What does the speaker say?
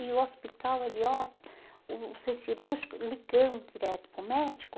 E o hospital, ele ó, o o centro cirúrgico ligando direto para o médico.